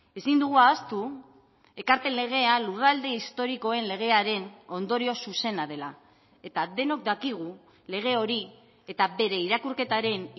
ezin dugu ahaztu ekarpen legea lurralde historikoen legearen ondorio zuzena dela eta denok dakigu lege hori eta bere irakurketaren